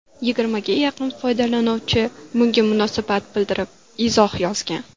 Yigirmaga yaqin foydalanuvchi bunga munosabat bildirib izoh yozgan.